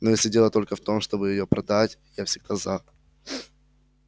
но если дело только в том чтобы её продать я всегда за